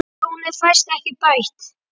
Tjónið fæst ekki bætt.